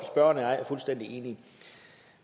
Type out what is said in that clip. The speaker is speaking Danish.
og jeg er fuldstændig enige